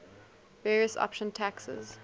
various option taxes